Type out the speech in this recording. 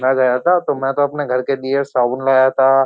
मैं गया था तो मैं तो अपने घर के दियर साबून लाया था।